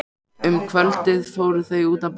Um kvöldið fóru þau út að borða.